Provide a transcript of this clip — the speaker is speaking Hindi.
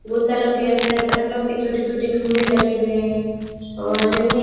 गौशालों के अंदर पत्थरों के छोटे छोटे खंबे लगे हुए और जमीन--